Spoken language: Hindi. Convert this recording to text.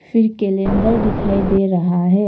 फिर कैलेंडर दिखाई दे रहा है।